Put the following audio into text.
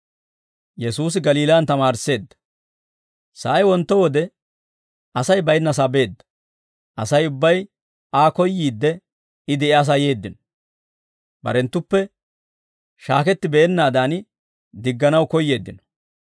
Sa'ay wontto wode Asay baynnasaa beedda; Asay ubbay Aa koyyiidde I de'iyaasaa yeeddino. Barenttuppe shaaketti beennaadan digganaw koyyeeddino.